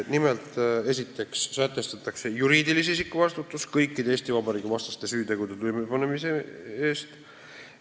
Nimelt, esiteks sätestatakse juriidilise isiku vastutus kõikide Eesti Vabariigi vastaste süütegude toimepanemise eest.